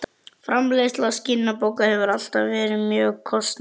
Framleiðsla skinnbóka hefur ávallt verið mjög kostnaðarsöm.